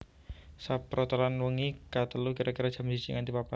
Saprotelon wengi ka telu kira kira jam siji nganti papat